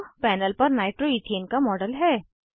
अब पैनल पर नाइट्रोइथेन का मॉडल है